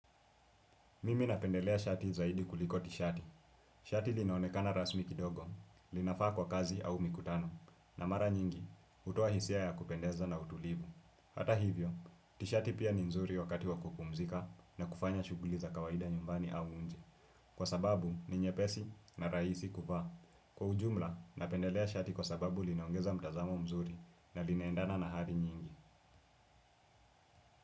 Mimi napendelea shati zaidi kuliko tishati. Shati linaonekana rasmi kidogo, linafaa kwa kazi au mikutano, na mara nyingi hutoa hisia ya kupendeza na utulivu. Hata hivyo, tishati pia ni nzuri wakati wa kupumzika na kufanya shughuli za kawaida nyumbani au nje. Kwa sababu ni nyepesi na rahisi kuvaa. Kwa ujumla, napendelea shati kwa sababu linaongeza mtazamo mzuri na linaendana na hadhi nyingi.